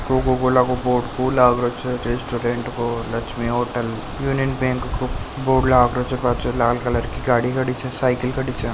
Coca Cola को board लगरो छे रिस्टोरेंट को लक्ष्मी होटल यूनियन बैंक को बोर्ड लगरो छे लाल कलर की गाड़ी खाड़ी छे साइकिल खड़ी छे।